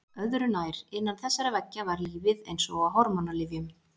Öðru nær: innan þessara veggja var lífið eins og á hormónalyfjum.